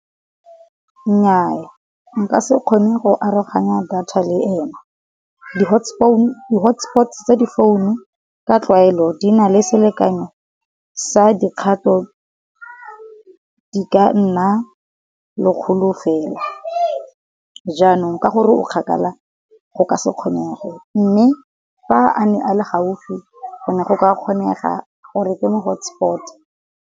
Nnyaa nka se kgone go aroganya data le ena, di hotspot tsa di founu ka tlwaelo di na le selekanyo sa dikgato di ka nna lekgolo fela. Jaanong ka gore o kgakala go ka se kgonege, mme fa a ne a le gaufi go ne go ka kgonega gore ke mo hotspot-e.